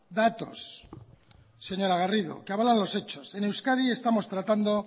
datos señora garrido que avalan los hechos en euskadi estamos tratando